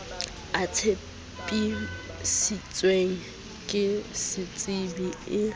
e tsepamisitsweng ke setsebi se